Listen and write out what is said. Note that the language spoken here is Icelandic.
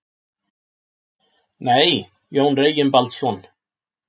Nei, Jón Reginbaldsson.